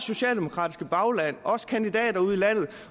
socialdemokratiske bagland også kandidater ude i landet